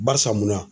Barisa munna